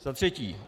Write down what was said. Za třetí.